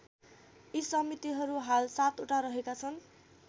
यी समितिहरू हाल ७ वटा रहेका छन्।